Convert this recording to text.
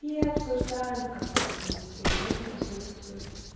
и обсуждаем в которой в принципе и он присутствует